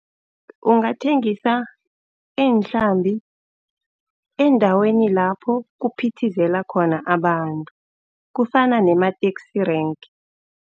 Ungathengisa iinhlambi eendaweni lapho kuphithizela khona abantu, kufana nema-taxi rank.